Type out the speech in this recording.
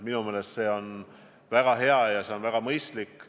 Minu meelest on see väga hea ja mõistlik.